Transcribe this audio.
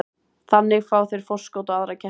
Þannig fá þeir forskot á aðra keppendur.